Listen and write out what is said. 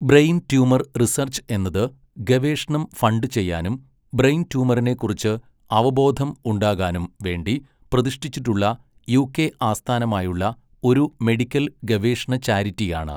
Brain tumour research എന്നത്, ഗവേഷണം fund ചെയ്യാനും ബ്രെയിൻ ട്യൂമറിനെ കുറിച്ച് അവബോധം ഉണ്ടാകാനും വേണ്ടി പ്രതിഷ്ഠിച്ചിട്ടുള്ള യുകെ ആസ്ഥാനമായുള്ള ഒരു മെഡിക്കൽ ഗവേഷണ ചാരിറ്റിയാണ്.